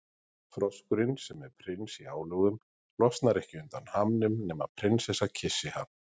Froskurinn, sem er prins í álögum, losnar ekki undan hamnum nema prinsessa kyssi hann.